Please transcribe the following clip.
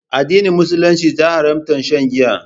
Addinin musulunci ta haramta shan Giya.